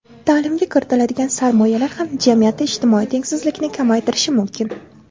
Ta’limga kiritiladigan sarmoyalar ham jamiyatda ijtimoiy tengsizlikni kamaytirishi mumkin.